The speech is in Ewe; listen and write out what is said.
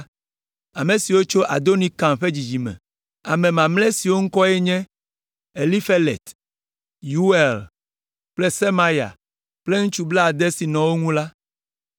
Ame siwo tso Adonikam ƒe dzidzime me: Ame mamlɛ siwo ƒe ŋkɔwoe nye Elifelet, Yeuel kple Semaya kple ŋutsu blaade siwo nɔ wo ŋu la;